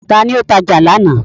Ta ni ó tajà lánàá.